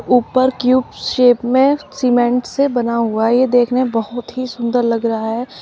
ऊपर cube shape में cement से बना हुआ है ये देखने में बहोत ही सुंदर लग रहा है।